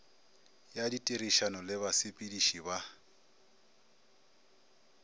ya ditirišano le basepediši ba